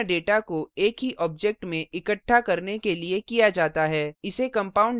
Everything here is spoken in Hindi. structure का उपयोग भिन्न data को एक ही object में इकट्ठा करने के लिए किया data है